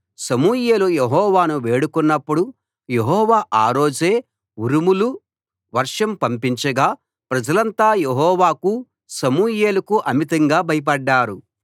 సమూయేలు యెహోవాను వేడుకొన్నప్పుడు యెహోవా ఆ రోజే ఉరుములు వర్షం పంపించగా ప్రజలంతా యెహోవాకు సమూయేలుకు అమితంగా భయపడ్డారు